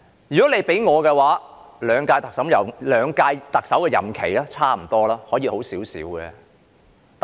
如果問我兩屆特首在任內的表現如何，我認為差不多，可以做好一點。